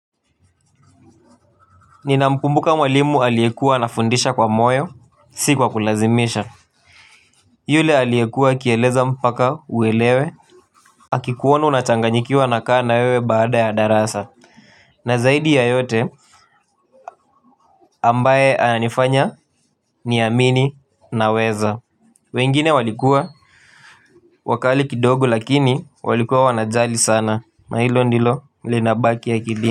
Nina mkumbuka mwalimu aliekua ana fundisha kwa moyo, si kwa kulazimisha. Yule aliekua kieleza mpaka uelewe. Akikuona una changanyikiwa anakaa na wewe baada ya darasa. Na zaidi ya yote ambaye anifanya ni amini na weza. Wengine walikuwa wakali kidogo lakini walikuwa wanajali sana. Na hilo ndilo linabaki ya kilini.